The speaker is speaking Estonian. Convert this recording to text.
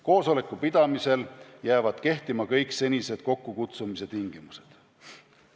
Koosoleku pidamisel jäävad kehtima kõik senised kokkukutsumise tingimused.